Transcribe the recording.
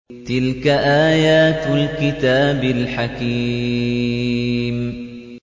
تِلْكَ آيَاتُ الْكِتَابِ الْحَكِيمِ